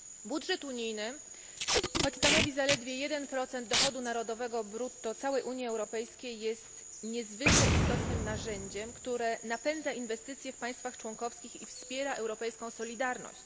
Budżet unijny choć stanowi zaledwie 1 dochodu narodowego brutto całej Unii Europejskiej jest niezwykle istotnym narzędziem, które napędza inwestycje w państwach członkowskich i wspiera europejską solidarność.